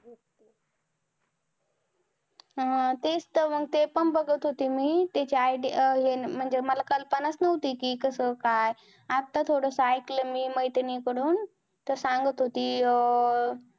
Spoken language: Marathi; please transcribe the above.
अं हा तेच तर मग. ते पण बघत होती मी त्याची idea हे म्हणजे मला कल्पना चं नव्हती. कि कसं काय, आता थोडंसं ऐकलं मी मैत्रिणीकडून, तर सांगत होती. अं